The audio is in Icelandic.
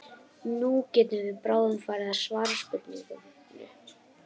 Nú getum við bráðum farið að svara spurningunni.